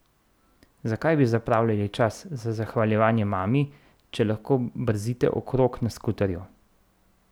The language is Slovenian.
Zakaj bi zapravljali čas za zahvaljevanje mami, če lahko brzite okrog na skuterju?